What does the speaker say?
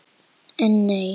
En nei.